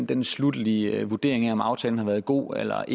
den sluttelige vurdering af om aftalen har været god eller ej